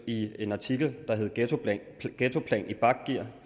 i en artikel der hedder ghettoplan ghettoplan i bakgear